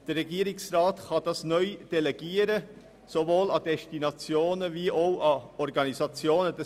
Der Regierungsrat kann dies neu sowohl an Destinationen wie auch an Organisationen delegieren.